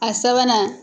A sabanan